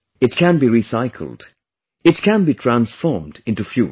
It can be recycled; it can be transformed into fuel